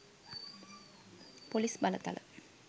police බලතල